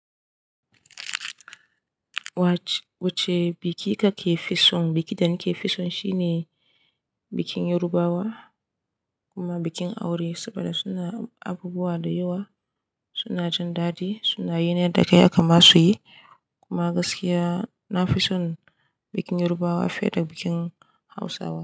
Wacce biki kake fi son? Biki da ni ke fi son shine bikin Yarabawa kuma bikin aure saboda suna abubuwa da yawa, suna jin dadi, suna yin yarda kai haka ma su yi. Kuma gaskiya na fi son bikin Yarabawa fiye da bikin Hausawa.